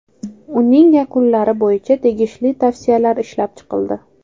Uning yakunlari bo‘yicha tegishli tavsiyalar ishlab chiqildi.